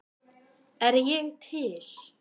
Er ég til?